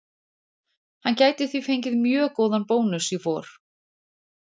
Hann gæti því fengið mjög góðan bónus í vor.